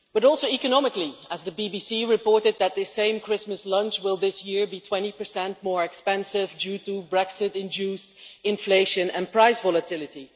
But also economically, as the BBC reported that this same Christmas lunch will this year be 20 more expensive due to Brexit induced inflation and price volatility.